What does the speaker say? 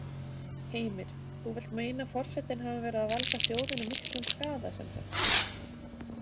Heimir: Þú vilt meina að forsetinn hafi verið að valda þjóðinni miklum skaða semsagt?